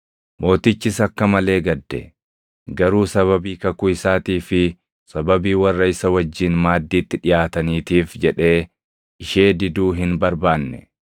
Mootichis akka malee gadde; garuu sababii kakuu isaatii fi sababii warra isa wajjin maaddiitti dhiʼaataniitiif jedhee ishee diduu hin barbaanne.